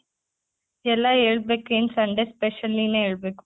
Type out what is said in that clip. ಎಲ್ಲ ಹೆಳ್ಬೇಕ್ ಏನ್ Sunday special ನೀನೆ ಹೆಳ್ಬೇಕು.